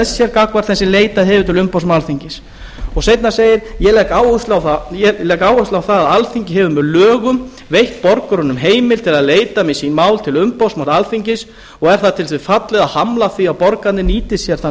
sér gagnvart þeim sem leitað hefur til umboðsmanns alþingis seinna segir ég legg áherslu á það að alþingi hefur með lögum veitt borgurunum heimild til að leita með sín mál til umboðsmanns alþingis og er það til þess fallið að hamla því að borgararnir nýti sér þann